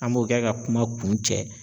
An b'o kɛ ka kuma kun cɛ.